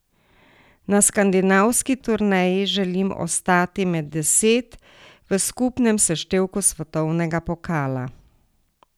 Na skandinavski turneji želim ostati med deset v skupnem seštevku svetovnega pokala.